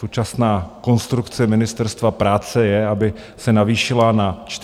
Současná konstrukce Ministerstva práce je, aby se navýšila na 40 let.